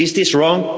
Is this wrong?